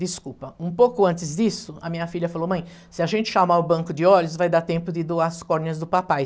Desculpa, um pouco antes disso, a minha filha falou, mãe, se a gente chamar o banco de olhos, vai dar tempo de doar as córneas do papai.